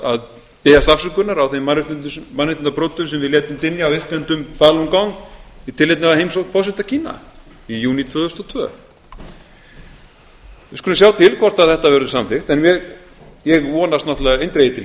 að biðjast afsökunar á þeim mannréttindabrotum sem við létum dynja á iðkendum falun gong í tilefni af heimsókn forseta kína í júní tvö þúsund og tvö við skulum sjá til hvort þetta verður samþykkt en ég vonast náttúrlega eindregið til